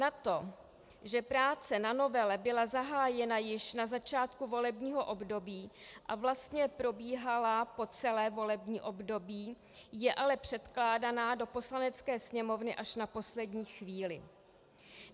Na to, že práce na novele byla zahájena již na začátku volebního období a vlastně probíhala po celé volební období, je ale předkládána do Poslanecké sněmovny až na poslední chvíli.